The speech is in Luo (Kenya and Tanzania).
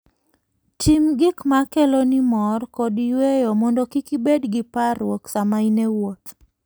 Tim gik ma keloni mor kod yueyo mondo kik ibed gi parruok sama in e wuoth.